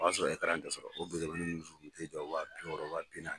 O y'a sɔrɔ ti sɔrɔ o jɔ wa bi wɔɔrɔ wa bi nanni